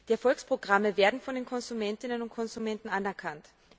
Die Erfolgsprogramme werden von den Konsumentinnen und Konsumenten anerkannt.